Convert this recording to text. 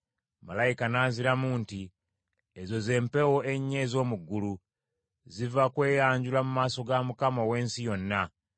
Malayika n’anziramu nti, “Ezo z’empewo ennya ez’omu ggulu; ziva kweyanjula mu maaso ga Mukama ow’ensi yonna.